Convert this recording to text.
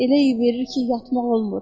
Elə iy verir ki, yatmaq olmur.